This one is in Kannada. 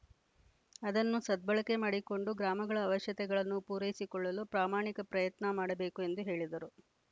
ಅದನ್ನು ಸದ್ಬಳಕೆ ಮಾಡಿಕೊಂಡು ಗ್ರಾಮಗಳ ಅವಶ್ಯತೆಗಳನ್ನು ಪೂರೈಸಿಕೊಳ್ಳಲು ಪ್ರಾಮಾಣಿಕ ಪ್ರಯತ್ನ ಮಾಡಬೇಕು ಎಂದು ಹೇಳಿದರು